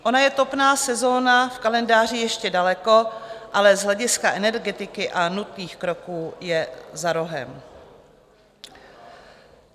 Ona je topná sezona v kalendáři ještě daleko, ale z hlediska energetiky a nutných kroků je za rohem.